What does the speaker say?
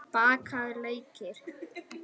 Bakaðir laukar